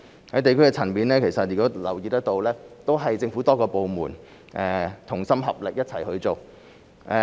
在地區層面，大家留意得到，政府多個部門同心合力一齊去做。